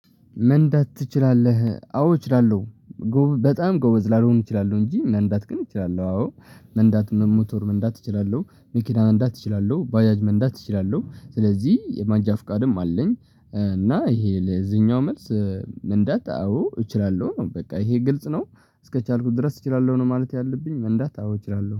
መንዳት ትችላለህ አዎ እችላለሁ። በጣም ጎበዝ ላልሆን እችላለሁ እንጂ መንዳት ግን እችላለሁ አዎ። መንዳት መ ሞተር መንዳት እችላለሁ መኪና መንዳት እችላለሁ ባጃጅ መንዳት እችላለሁ ስለዚህ መንጃ ፍቃድም አለኝ። እና ይሄ ለዚህኛው መልስ መንዳታ አዎ እችላለሁ ነው። በቃ ይሄ ግልጽ ነው። እስከቻልኩ ድረስ እችላለሁ ነው ማለት ያለብኝ መንዳታ አዎ እችላለሁ